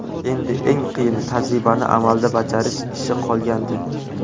Endi eng qiyini – tajribani amalda bajarish ishi qolgandi.